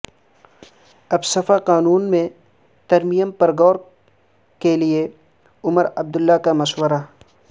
AFSPA قانون میں ترمیم پر غور کے لیے عمر عبداللہ کا مشورہ